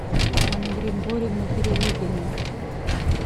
анны григорьевны перелыгиной